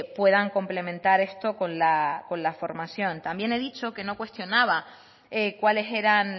puedan complementar esto con la formación también he dicho que no cuestionaba cuáles eran